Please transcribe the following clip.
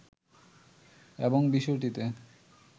এবং বিষয়টিতে